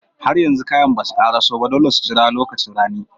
Har yanzu kayan basu ƙaraso ba, dole su jira lokacin rani.